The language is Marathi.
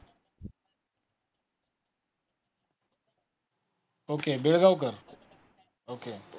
okay Begaonkar okay